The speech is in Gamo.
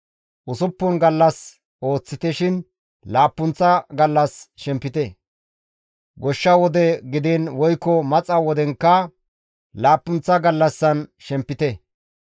«Usuppun gallas ooththite shin laappunththa gallas shempite; goshsha wode gidiin woykko maxa wodenkka laappunththa gallassan shempite.